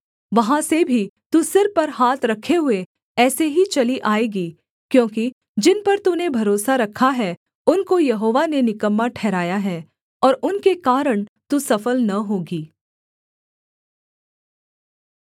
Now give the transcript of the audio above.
वहाँ से भी तू सिर पर हाथ रखे हुए ऐसे ही चली आएगी क्योंकि जिन पर तूने भरोसा रखा है उनको यहोवा ने निकम्मा ठहराया है और उनके कारण तू सफल न होगी